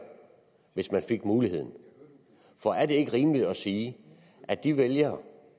hvis man fik muligheden for er det ikke rimeligt at sige at de vælgere